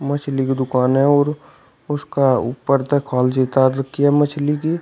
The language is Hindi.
मछली की दुकानें हैं और उसका ऊपर तक उतार रखी है मछली की।